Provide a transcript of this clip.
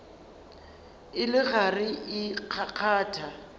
e le gare e kgakgatha